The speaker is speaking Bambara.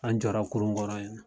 An jɔra kurun kɔrɔ yen.